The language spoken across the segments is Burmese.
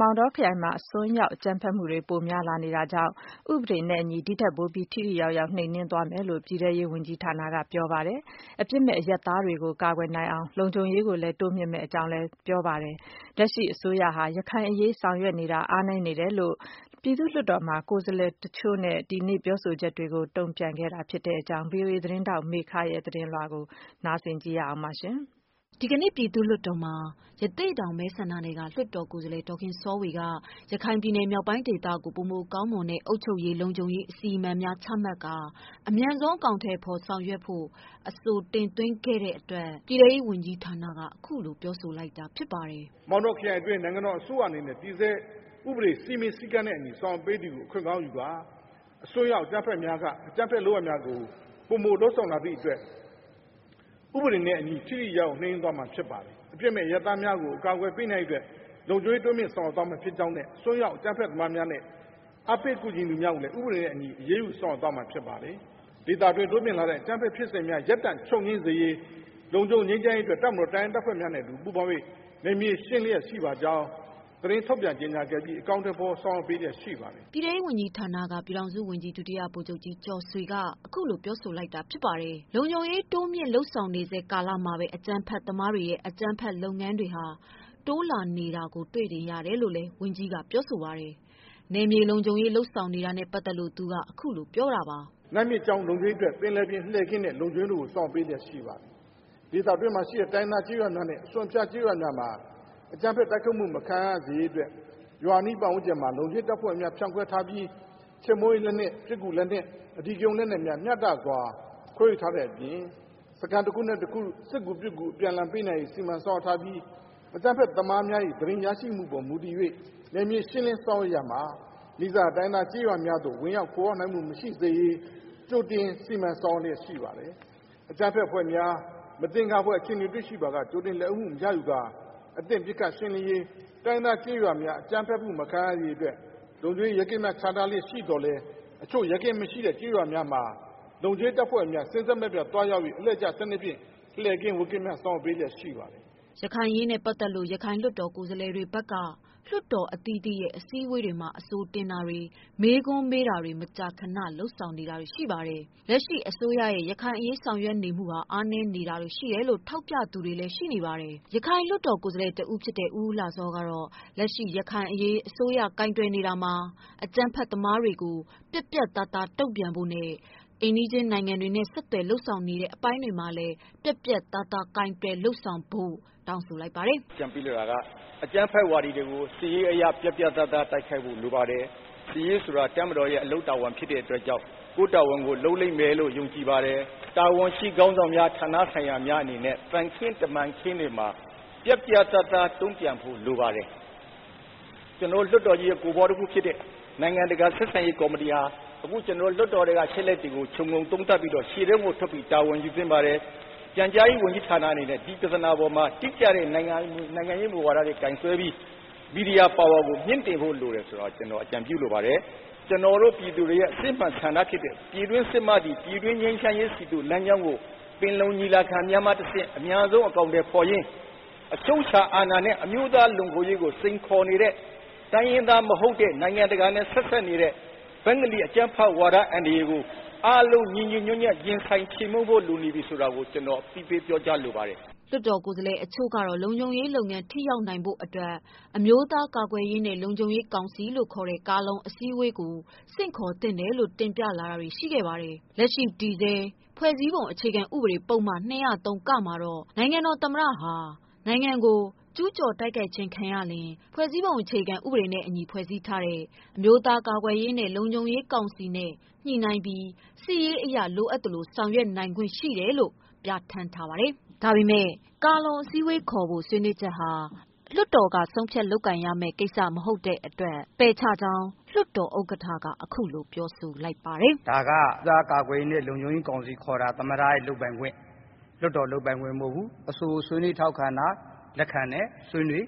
မောင်တောခရိုင်မှာ အစွန်းရောက်အကြမ်းဖက်များက အကြမ်းဖက် မူတွေပိုမို လုပ်ဆောင်လာတဲ့ အတွက် ဥပဒေနဲ့အညီ ဒီထက်ပိုပြီး ထိထိရောက်ရောက်နှိမ်နင်းသွားမယ်လို့ ပြည်တဲရေးဝန်ကြီးဌာနက ပြောဆိုလိုက်ပါတယ်။ အပြစ်မဲ့အရပ်သားတွေကိုကာကွယ်နိုင်ဖို့ လုံခြုံရေးပိုင်းဆောင်ရွက်မှုတွေကိုလည်း တိုးမြင့်မယ် လို့လည်း ပြောဆိုလိုက် ပါတယ်။ လက်ရှိ အစိုးရရဲ့ ရခိုင်အရေးဆောင်ရွက်နေမှုဟာ အားနည်းနေတယ်လို့ ဒီကနေ့ုပြည်သူ့လွှတ်တော်မှာ လွှတ်တော်ကိုယ်စားလှယ်အချို့ပြောဆိုချက်တွေကို တန်ပြန်ပြောဆိုလိုက်တာ ဖြစ်ပါတယ်။ ဒီသတင်းကိုဗွီအိုအေသတင်းဌာန ကမေခကပေးပို့ လိုက်တာပါ။ ဒီကနေ့ ပြည်သူ့လွှတ်တော်မှာ ရသေ့တောင်မဲဆန္ဒနယ်က လွှတ်တော်ကိုယ်စားလှယ် ဒေါ်ခင်စောဝေက ရခိုင်ပြည်နယ် မြောက်ပိုင်း ဒေသကို ပိုမိုကောင်းမွန် တဲ့ အုပ်ချုပ်ရေး၊ လုံခြုံရေး အစီအမံများ ချမှတ် ကာ အမြန်ဆုံးအကောင်အထည်ဖော် ဆောင်ရွက် ဖို့အဆိုတင်သွင်း တဲ့အတွက် ပြည်တဲရေးဝန်ကြီးဌာန ပြည်ထောင်စုဝန်ကြီးက အခုလိုပြောဆိုလိုက်တာဖြစ်ပါတယ်။ “မောင်တောခရိုင်မှာ အစိုးရက တည်ဆဲဥပဒေစည်းမျဉ်းစည်းကမ်းနဲ့ လုပ်ဆောင်နေတာကို အခွင့်ကောင်းယူပြီး အစွန်းရောက်အကြမ်းဖက်များက အကြမ်းဖက် အလုပ်များကိုပိုမို လုပ်ဆောင်လာတဲ့အတွက် ဥပဒေနဲ့အညီ ထိထိရောက်ရောက်နှိမ်နင်း သွားမှာဖြစ်ပါတယ်။ အပြစ်မဲ့အရပ်သားတွေကိုကာကွယ်နိုင်ဖို့ လုံခြုံရေးတိုးမြင့်ဆောင်ရွက်သွားပါမယ်ဖြစ်ကြောင်းနှင့် အစွန်းရောက်အကြမ်းဖက်သမားတွေနဲ့ အားပေးကူညီသူတွေကို အရေးယူဆောင်ရွက်သွားမှာ ဖြစ်ပါတယ်။ ဒေသတွင်းတိုးမြင့်လာတဲ့ အကြမ်းဖက်လုပ်ငန်းများချုပ်ငြိမ်းစေရေး၊ လုံခြုံစေရေး အတွက် တပ်မတော်တပ်ရင်းတပ်ဖွဲ့များနဲ့ ပူးပေါင်းပြီး နယ်မြေရှင်းလျက်ရှိပါကြောင်း သတင်း ထုတ်ပြန်ပေးပြီး အကောင်အထည်ဖော်ဆောင်ရွက် ပေးလျက်ရှိပါတယ်။” ပြည်ထဲရေးဝန်ကြီးဌာန ပြည်ထောင်စုဝန်ကြီး ဒုတိယဗိုလ်ချုပ်ကြီးကျော်ဆွေက အခုလိုပြောဆို လိုက်တာပါ။လုံခြုံရေးတိုးမြင့်လုပ်ဆောင်နေဆဲကာလမှာဘဲ အကြမ်းဖက်လုပ်ငန်းတွေ တိုးလာနေတာတွေ့ရတယ် လို့ လည်း ဝန်ကြီးကပြောပါတယ်။ နယ်မြေလုံခြုံရေး လုပ်ဆောင်နေတာနဲ့ပတ်သတ်လို့ သူက “နတ်မြစ်ကြောင်းလုံခြုံရေးအတွက် ပင်လယ်ပြင်လှည့်ကင်းနဲ့လုံခြုံရေးတို့ကို ဆောင်ရွက် ပေး လျက်ရှိပါတယ်။ ဒေသတွင်းမှာရှိတဲ့ တိုင်းရင်းသားကျေးရွာတွေနဲ့ အစွန်အဖျားကျေးရွာများမှာ အကြမ်းဖက်တိုက်ထုတ်မှုမခံရစေရေးအတွက် ရွာနီးပတ်ဝန်းကျင်မှာ လုံခြုံရေးတပ်ဖွဲ့ဝင်များဖြန့် ခွဲထားပြီး ချေးမှုန်းရေးလက်နက်၊ ပစ်ကူလက်နက်၊ အဓိကရုန်းလက်နက် များမျှတစွာခွဲဝေထားတဲ့ အပြင် စခန်းတခုနဲ့တခု စစ်ကူပေးနိုင်ဖို့ စီမံဆောင်ရွက်ထားပြီး အကြမ်းဖက်သမားများ၏ သတင်းရရှိမှု ပေါ်မူတည်၍ နယ်မြေရှင်းလင်းဆောင်ရွက်ရာမှာ နီးစပ်ရာတိုင်းရင်းသားကျေးရွာ များသို့ ခိုအောင်းမှု မရှိစေရေး ကြိုတင်စီမံဆောင်ရွက်ထားရှိပါတယ်။ အကြမ်းဖက်အဖွဲ့များနဲ့ မသင်္ကာအဖွဲ့တွေကို ကြိုတင်လက်ဦးမှုရယူကာ အသင့်ပစ်ခတ်ရှင်းလင်းရေးနဲ့ တိုင်းရင်းသား ကျေးရွာတွေ အကြမ်း ဖက်မခံရစေရေးအတွက် လုံခြုံရေးရဲကင်းများချထား လေ့ရှိသော်လည်း အချို့ရဲကင်းမရှိကျေးရွာများမှာ လုံခြုံရေးအဖွဲ့ဝင်တွေ အလှည့်ကျ စနစ်ဖြင့်လှည့်ကင်းဝပ်ကင်း ဆောင်ရွက်နေပါတယ်။ ” ရခိုင်အရေးနဲ့ပတ်သတ်လို့ ရခိုင်လွှတ်တော်ကိုယ်စားလှယ်တွေ ဘက်က လွှတ်တော်အသီးသီးရဲ့ အစည်းဝေးတွေမှာ အဆိုတင်တာတွေ၊ မေးခွန်း မေးတာတွေ မကြာခဏလုပ်ဆောင်လာတာ တွေရှိပါတယ်။ လက်ရှိ အစိုးရရဲ့ ရခိုင်အရေးဆောင်ရွက်နေမှုဟာ အားနည်းနေတာတွေရှိတယ်လို့ ထောက်ပြကြ သူတွေလည်းရှိပါတယ်။ ရခိုင်လွှတ်တော်ကိုယ်စားလှယ် ဦးဦးလှစောကတော့ လက်ရှိ ရခိုင်အရေးအစိုးရ ကိုင်တွယ် နေတာမှာ အကြမ်းဖက်သမားတွေ ကို ပြတ်ပြတ်သားသား တုံပြန်ဖို့ ၊ အိမ်နီးချင်းနိုင်ငံတွေနဲ့ ဆက်သွယ် လုပ်ဆောင်နေတဲ့ အပိုင်းတွေမှာ ပြတ်ပြတ်သားသားကိုင်တွယ် လုပ်ဆောင်ဖို့ တောင်းဆို လိုက်ပါတယ်။ “အကြံပေးလိုတာက အကြမ်းဖက်ဝါဒီတွေကို စစ်ရေးအရ ပြတ်ပြတ်သားသား တိုက်ဖို့လိုအပ်ပါတယ်။ စစ်ရေးဆိုတာ တပ်မတော်ရဲ့အလုပ်တာဝန်ဖြစ်တဲ့အတွက်ကြောင့် ကိုယ့်တာဝန်ကို လုပ်လိမ့်မယ်လို့ ယုံကြည့်ပါတယ်။ တာဝန်ရှိ ခေါင်းဆောင်များဌာနဆိုင်ရာများအနေနဲ့ သံခင်းတမန်ခင်း ပြတ်ပြတ်သားသား တုံ့ပြန်ဖို့လိုပါတယ်။ လွှတ်တော်ကိုယ်ပွားတခုအနေနဲ့ နိုင်ငံတကာဆက်ဆံရေးကော်မတီဟာ လွှတ်တော်ထဲကအခြေ အနေတွေကိုခြုံငုံသုံးသပ်ပြီးတော့ ရှေ့တန်းကိုထွက်တာဝန်ယူသင့်ပါတယ်။ ပြန်ကြားရေးဝန်ကြီး ဌာနအနေနဲ့ဒီအပေါ်မှာတိကျတဲ့ နိုင်ငံရေးမူဝါဒကို ကိုင်ဆွဲပြီး မီဒီယာပါဝါမြင့်တင်ဖို့ ကျနော်အကြံ ပေးလိုပါတယ်။ ကျနော်တို့ ပြည်သူတွေရဲ့ အစစ်အမှန်ဆန္ဒဖြစ်တဲ့ ပြည်တွင်းစစ်မှသည်၊ ပြည်တွင်းငြိမ်းချမ်းရေးဆီသို့ လမ်းကြောင်းကို ပင်လုံညီလာခံများမှ တဆင့် အမြန်ဆုံးအကောင်အထည်ဖော်ရင်း အချုပ်အခြာအာဏာနဲ့ အမျိုးသားလုံခြုံရေးကို စိန်ခေါ်နေတဲ့ တိုင်းရင်းသားမဟုတ်တဲ့ နိုင်ငံတကာနဲ့ ဆက်စပ်နေတဲ့ ဘင်္ဂလီအကြမ်းဖက် ဝါဒအန္တရာယ်ကို အားလုံးညီညီညွှတ်ညွှတ်ရင်ဆိုင်ခြေမှုန်းဖို့ လိုနေပြီဆိုတာကို ကျနော်အသိပေးပြောကြားလိုပါတယ်။” လွှတ်တော်ကိုယ်စားလှယ်အချို့ကတော့ လုံခြုံရေးလုပ်ငန်းထိရောက်ဖို့ အမျိုးသား ကာကွယ် ရေးနှင့်လုံခြုံရေးကောင်စီ လို့ခေါ်တဲ့ ကာလုံ စည်းဝေးခေါ်သင့်တယ်လို့ တင်ပြမှုတွေ ရှိခဲ့ပါတယ်။ တည်ဆဲ ဖွဲ့စည်းပုံအခြေခံဥပဒေ ပုဒ်မ ၂၁၃ တွင် နိုင်ငံတော်သမ္မတဟာ “နိုင်ငံတော် ကျူးကျော်တိုက်ခိုက်ခြင်း ခံရင် ဖွဲ့စည်းပုံအခြေခံဥပဒေနဲ့အညီ ဖွဲ့စည်းထားတဲ့အမျိုးသား ကာကွယ် ရေးနဲ့လုံခြုံရေးကောင်စီနဲ့ ညှိနှိုင်းလျက် စစ်ရေးအရ လိုအပ်သလို ဆောင်ရွက် ပိုင်ခွင့် ရှိတယ်” လို့ပြဌာန်းထားပါတယ်။ ဒါပေမယ့် ကာလုံအစည်းဝေးခေါ်ဖို့ဟာ လွှတ်တော်ကဆုံးဖြတ်လုပ်ကိုင်ရမယ့် ကိစ္စမဟုတ်တဲ့ အတွက် လွှတ်တော်ဥက္ကဌက အခုလိုပယ်ချကြောင်း ပြောဆိုခဲ့ပါတယ်။ “ဒါက ကာကွယ်ရေးနဲ့ လုံခြုံရေးကောင်စီခေါ်တာ သမ္မတရဲ့လုပ်ပိုင်ခွင့် လွှတ်တော်လုပ်ပိုင်ခွင့်မဟုတ်ဘူး၊ အဆိုကိုဆွေးနွေးထောက်ခံတာ ၊ လက်ခံတယ်၊ ဆွေးနွေး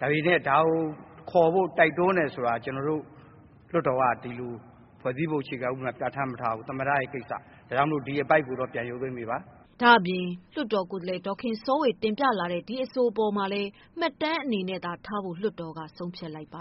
ဒါပေမယ့် ဒါကိုခေါ်ဖို့ တိုက်တွန်းတယ်ဆိုတာက ကျနော်တို့ လွှတ်တော်က ဒီလို ဖွဲ့စည်းပုံအခြေခံဥပဒေမှာ ပြဌာန်းမထားဘူး သမ္မတကိစ္စ ဒါကြောင့် ဒီဟာကိုတော့ ပြန်ရုပ်သိမ်းပေးပါ။” ဒါ့အပြင် လွှတ်တော် ကိုယ်စားလှယ် ဒေါ်ခင်စောဝေတင်လာတဲ့ အဆိုကိုလည်း မှတ်တမ်းအနေနဲ့ ထားဖို့သာ လွှတ် တော်က ဆုံးဖြတ်လိုက်ပါ